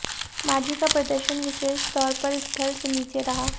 माझी का प्रदर्शन विशेष तौर पर स्तर से नीचे रहा